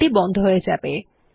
file টি বন্ধ হয়ে যাবে